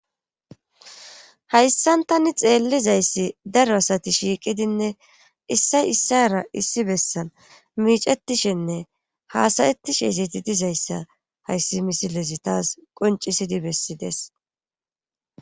Hayssan tani xeellizayssi daro asati shiiqidinne issay issara issi bessan miicettishenne haasayettishe ezeti dizayssa hayssi misilezi taas qoncisidi bessides.